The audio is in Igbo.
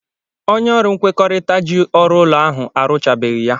Onye ọrụ nkwekọrịta ji ọrụ ụlọ ahụ arụchabeghị ya.